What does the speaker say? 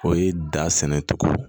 O ye da sɛnɛ cogo